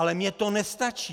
Ale mně to nestačí!